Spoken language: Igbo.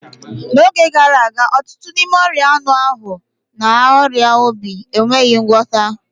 N'oge gara aga, ọtụtụ n'ime ọria anu ahụ na ọrịa obi enweghị ngwọta